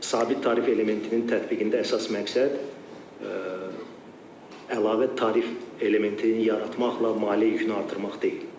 Sabit tarif elementinin tətbiqində əsas məqsəd əlavə tarif elementini yaratmaqla maliyyə yükünü artırmaq deyil.